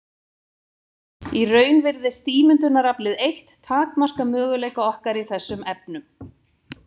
Í raun virðist ímyndunaraflið eitt takmarka möguleika okkar í þessum efnum.